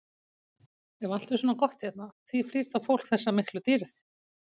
Ef allt er svona gott hérna, því flýr þá fólk þessa miklu dýrð?